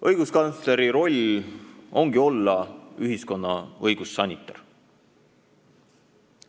Õiguskantsleri roll ongi olla ühiskonna õigussanitar.